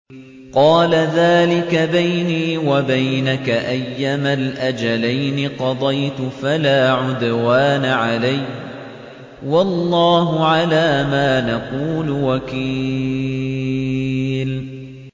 قَالَ ذَٰلِكَ بَيْنِي وَبَيْنَكَ ۖ أَيَّمَا الْأَجَلَيْنِ قَضَيْتُ فَلَا عُدْوَانَ عَلَيَّ ۖ وَاللَّهُ عَلَىٰ مَا نَقُولُ وَكِيلٌ